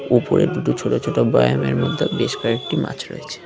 উপরে দুটো ছোট ছোট ব্যয়ামের মধ্যে বেশ কয়েকটি মাছ রয়েছে।